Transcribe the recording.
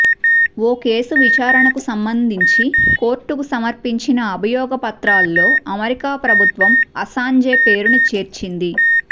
ఓ case విచారణకు సంబంధించి కోర్టుకు సమర్పించిన అభియోగ పత్రాల్లో అమెరికా ప్రభుత్వం అసాంజే పేరును చేర్చింది